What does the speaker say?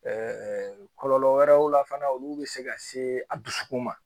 kɔlɔlɔ wɛrɛw la fana olu bɛ se ka se a dusukun ma